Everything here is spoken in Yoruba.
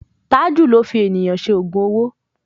Tájù ló fi ènìyàn ṣe ògùn owó.